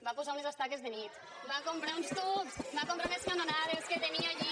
va posar unes estaques de nit va comprar uns tubs va comprar unes canonades que tenia allí